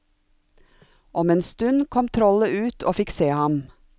Om en stund kom trollet ut og fikk se ham.